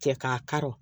Cɛ k'a kari